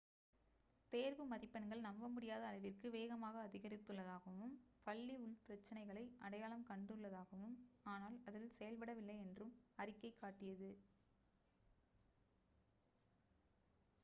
தேர்வு மதிப்பெண்கள் நம்ப முடியாத அளவிற்கு வேகமாக அதிகரித்துள்ளதாகவும் பள்ளி உள்பிரச்சனைகளை அடையாளம் கண்டுள்ளதாகவும் ஆனால் அதில் செயல்படவில்லை என்றும் அறிக்கை காட்டியது